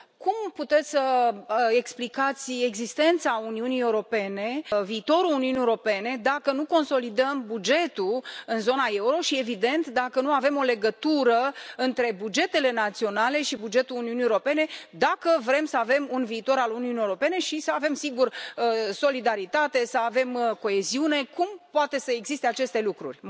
Cum puteți să explicați existența Uniunii Europene, viitorul Uniunii Europene dacă nu consolidăm bugetul în zona euro, și, evident, dacă nu avem o legătură între bugetele naționale și bugetul Uniunii Europene, dacă vrem să avem un viitor al Uniunii Europene și să avem, sigur, solidaritate, să avem coeziune cum pot să existe aceste lucruri?